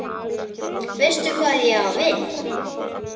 Veistu hvað ég á við?